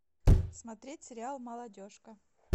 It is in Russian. смотреть сериал молодежка